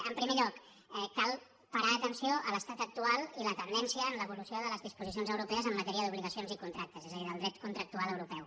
en primer lloc cal parar atenció a l’estat actual i la tendència en l’evolució de les disposicions europees en matèria d’obligacions i contractes és a dir del dret contractual europeu